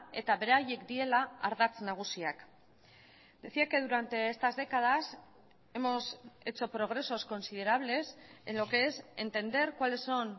eta beraiek direla ardatz nagusiak decía que durante estas décadas hemos hecho progresos considerables en lo que es entender cuáles son